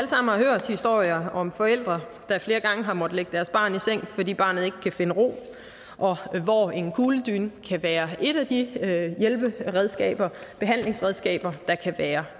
har hørt historier om forældre der flere gange har måttet lægge deres barn i seng fordi barnet ikke kan finde ro og hvor en kugledyne kan være et af de behandlingsredskaber der kan være